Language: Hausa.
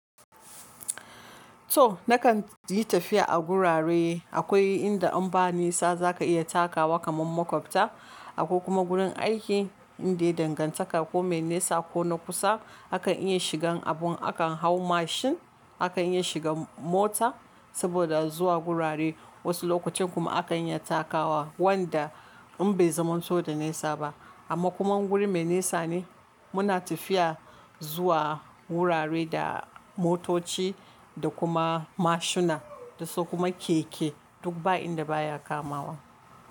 So nakan yi tafiya a gurare akwai inda in ba nisa za ka iya takawa kaman makwabta, akwai kuma gurin aiki inda ya danganta ko mai nisa ko na kusa akan iya shigan abu akan hau mashin akan iya shiga mota saboda zuwa gurare. Wasu lokacin kuma akan iya takawa wanda in bai zamanto da nisa ba amma kuma in guri mai nisa ne muna tafiya zuwa wurare da motoci da kuma mashina da su kuma keke duk ba inda baya kamawa.